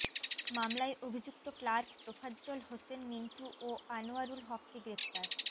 মামলায় অভিযুক্ত ক্লার্ক তোফাজ্জল হোসেন মিন্টু ও আনোয়ারুল হককে গ্রেফতার